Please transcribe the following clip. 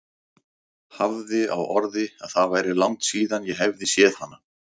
Hafði á orði að það væri langt síðan ég hefði séð hana.